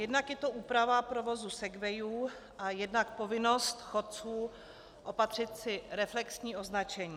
Jednak je to úprava provozu segwayů a jednak povinnost chodců opatřit si reflexní označení.